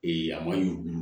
a ma yuruku yuruku